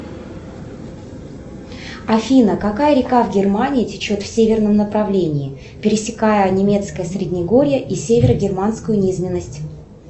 афина какая река в германии течет в северном направлении пересекая немецкое среднегорье и северо германскую низменность